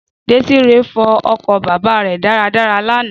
Désíre fọ ọkọ̀ bàbà rè dára dára l'ana